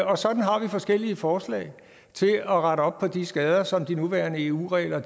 og sådan har vi forskellige forslag til at rette op på de skader som de nuværende eu regler